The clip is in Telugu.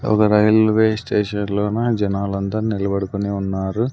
ఒగ రైల్వే స్టేషన్ లోన జనాలందరు నిలబడుకొని ఉన్నారు.